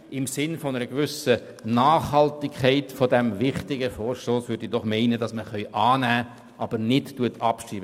Im Sinne einer gewissen Nachhaltigkeit dieses wichtigen Vorstosses bin ich der Meinung, man könne diesen annehmen und solle ihn nicht abschreiben.